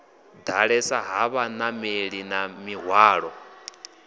ḓalesa ha vhanameli na mihwalo